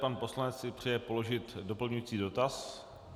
Pan poslanec si přeje položit doplňující dotaz.